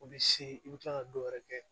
O bɛ se i bɛ kila ka dɔw yɛrɛ kɛ